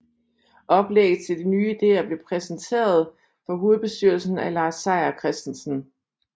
Oplægget til de nye ideer blev præsenteret for hovedbestyrelsen af Lars Seier Christensen